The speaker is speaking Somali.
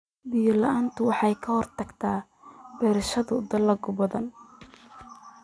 Biyo la'aantu waxay ka hortagtaa beerashada dalagyo badan.